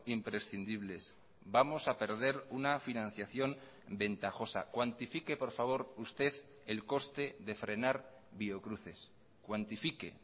imprescindibles vamos a perder una financiación ventajosa cuantifique por favor usted el coste de frenar biocruces cuantifique